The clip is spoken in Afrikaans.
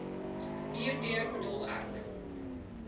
hierdeur bedoel ek